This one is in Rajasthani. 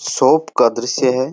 शॉप का दृश्य है।